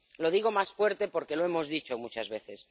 Lo digo más fuerte, porque lo hemos dicho muchas veces.